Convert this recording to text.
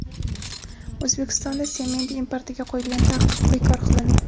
O‘zbekistonda sement importiga qo‘yilgan taqiq bekor qilindi.